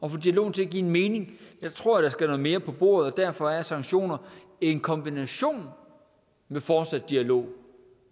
at få dialogen til at give mening jeg tror der skal noget mere på bordet og derfor er sanktioner i kombination med fortsat dialog